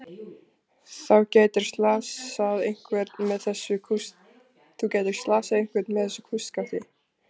Þú gætir slasað einhvern með þessu kústskafti.